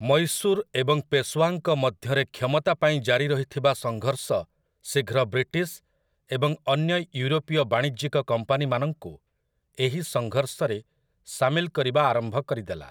ମୈଶୂର୍ ଏବଂ ପେଶ୍‌ଓ୍ୱାଙ୍କ ମଧ୍ୟରେ କ୍ଷମତା ପାଇଁ ଜାରି ରହିଥିବା ସଂଘର୍ଷ ଶୀଘ୍ର ବ୍ରିଟିଶ୍ ଏବଂ ଅନ୍ୟ ୟୁରୋପୀୟ ବାଣିଜ୍ୟିକ କମ୍ପାନୀମାନଙ୍କୁ ଏହି ସଂଘର୍ଷରେ ସାମିଲ କରିବା ଆରମ୍ଭ କରିଦେଲା ।